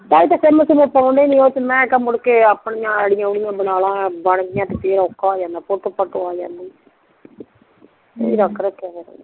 ਕੱਲ ਦਸਿਆ ਮੈਂ ਕਿਹਾ ਮੁੜਕੇ ਆਯਈ ਡੀ ਬਣਾ ਲਾ ਬਣ ਗਈਆ ਤੇ ਫੇਰ ਓਕਹਾ ਹੁਣ ਫੋਟੋ ਫੁੱਟੋ ਆ ਜਾਂਦੀ ਅਸੀਂ ਰੱਖ ਰੱਖਿਆ ਫੇਰ